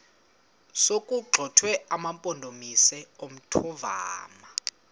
sokuwagxotha amampondomise omthonvama